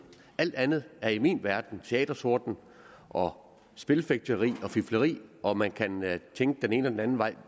alt andet er i min verden teatertorden og spilfægteri og fifleri og man kan tænke den ene og den anden vej